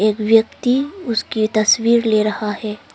एक व्यक्ति उसकी तस्वीर ले रहा है।